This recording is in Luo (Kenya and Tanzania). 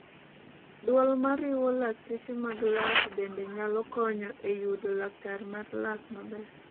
duol mariwo lakteche mag lak bende nyalo konyo e yudo laktar mar lak maber